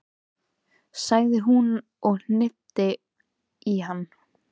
sagði hún og hnippti í hann.